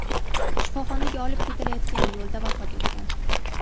shifoxonaga olib ketilayotganda yo‘lda vafot etgan.